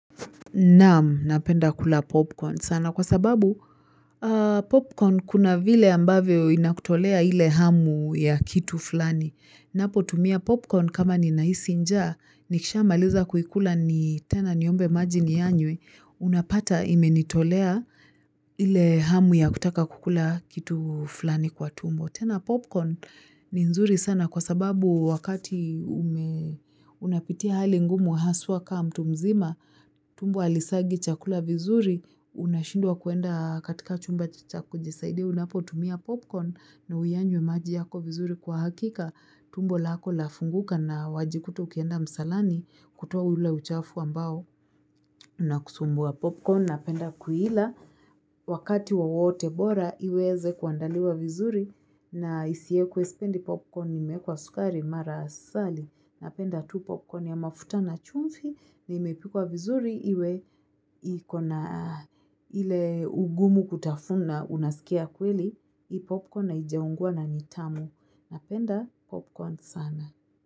Naam, napenda kula popcorn. Sana kwa sababu popcorn kuna vile ambavyo inakutolea ile hamu ya kitu fulani. Napotumia popcorn kama ninahisi njaa, nikishamaliza kuikula ni tena niombe maji niyanywe, unapata imenitolea ile hamu ya kutaka kukula kitu fulani kwa tumbo. Tena popcorn ni nzuri sana kwa sababu wakati ume unapitia hali ngumu haswa kaa mtu mzima, tumbo alisagi chakula vizuri, unashindwa kuenda katika chumba cha kujisaidi, unapotumia popcorn na uyanywe maji yako vizuri kwa hakika. Tumbo lako lafunguka na wajikuta ukienda msalani kutoa ule uchafu ambao unakusumbua popcorn napenda kuila wakati wowote bora iweze kuandaliwa vizuri na isiekwe sipendi popcorn imeekwa sukari mara asali napenda tu popcorn ya mafuta na chumfi na imepikwa vizuri iwe iko na ile ugumu kutafuna unasikia kweli hii popcorn haijaungua na n itamu napenda popcorn sana.